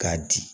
K'a di